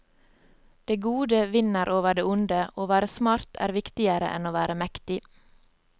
Det gode vinner over det onde, å være smart er viktigere enn å være mektig.